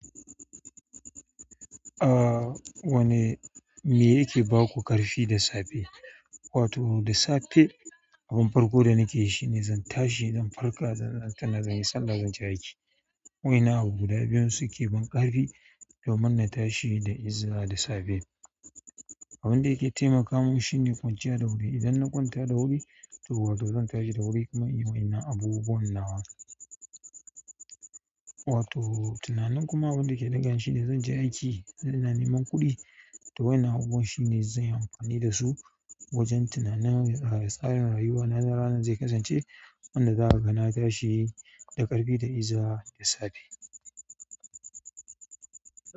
Ah wane me yake ba ku ƙarfi da safe? Wato da safe abin farko da nake yi shine zan tashi, zan farka, zan yi sallah, zan je aiki. Wa in nan abu guda biyun suke ban ƙarfi domin na tashi da izza da safe. Abun da yake taimaka min shine kwanciya da wuri idan na ƙwanta da wuri, to wato zan tashi da wuri kamar in wa in nan abubuwan nawa. Wato tunanin kuma wanda ke ɗaga ni shine zan je aiki, zan nemi kuɗi ta wa in nan abubuwan shine zan yi amfani da su wajen tunanan tsarin rayuwa na ranar zai kasance wanda za a ga na tashi da ƙarfi, da izza da safe.